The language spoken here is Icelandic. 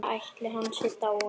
Ætli hann sé dáinn.